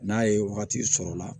N'a ye wagati sɔrɔla